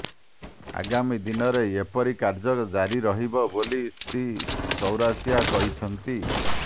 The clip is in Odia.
ଆଗାମୀ ଦିନରେ ଏହିପରି କାର୍ଯ୍ୟ ଜାରି ରହିବ ବୋଲି ଶ୍ରୀ ଚୌରାସିଆ କହିଛନ୍ତି